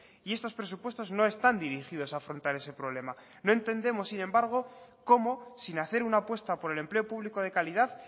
y estos presupuestos no están dirigidos a afrontar ese problema no entendemos sin embargo cómo sin hacer una apuesta por el empleo público de calidad